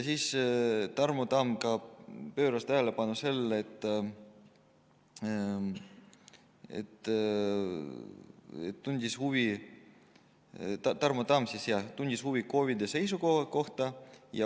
Tarmo Tamm pööras tähelepanu KOV-idel ja tundis huvi nende seisukoha kohta.